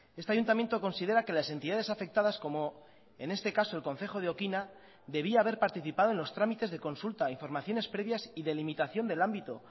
este ayuntamiento considera que las entidades afectadas como en este caso el concejo de oquina debía haber participado en los tramites de consulta informaciones previas y de limitación del ámbito